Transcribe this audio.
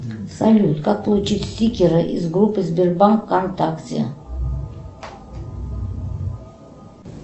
салют как получить стикеры из группы сбербанк вконтакте